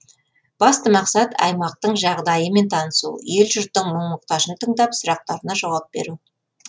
басты мақсат аймақтың жағдаймен танысу ел жұрттың мұң мұқтажын тыңдап сұрақтарына жауап беру